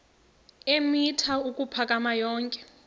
eemitha ukuphakama yonke